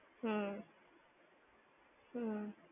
હમ્મ. હમ્મ.